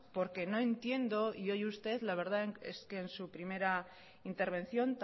porque no entiendo y hoy usted la verdad es que en su primera intervención